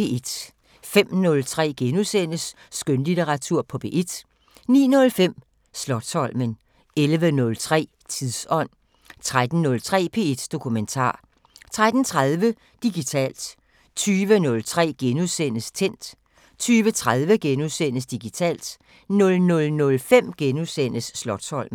05:03: Skønlitteratur på P1 * 09:05: Slotsholmen 11:03: Tidsånd 13:03: P1 Dokumentar 13:30: Digitalt 20:03: Tændt * 20:30: Digitalt * 00:05: Slotsholmen *